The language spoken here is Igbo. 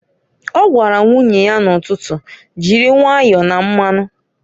O gwara nwunye ya n'ụtụtụ, "Jiri nwayọ na mmanụǃ"